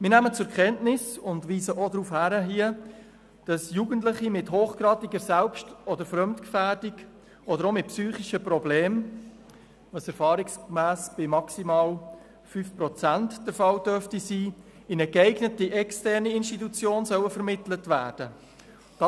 Wir nehmen zur Kenntnis und weisen an dieser Stelle auch darauf hin, dass Jugendliche mit hochgradiger Selbst- oder Fremdgefährdung oder auch mit psychischen Problemen – was erfahrungsgemäss bei maximal 5 Prozent der Fall sein dürfte –, in eine geeignete externe Institution vermittelt werden sollen.